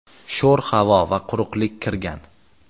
sho‘r havo va quruqlik kirgan.